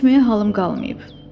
Getməyə halım qalmayıb.